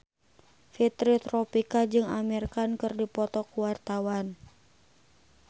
Fitri Tropika jeung Amir Khan keur dipoto ku wartawan